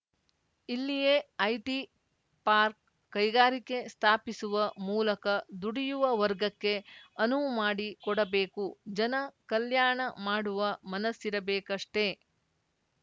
ಇಲ್ಲಿಯೇ IT park ಕೈಗಾರಿಕೆ ಸ್ಥಾಪಿಸುವ ಮೂಲಕ ದುಡಿಯುವ ವರ್ಗಕ್ಕೆ ಅನುವು ಮಾಡಿಕೊಡಬೇಕು ಜನ ಕಲ್ಯಾಣ ಮಾಡುವ ಮನಸ್ಸಿರಬೇಕಷ್ಟೆ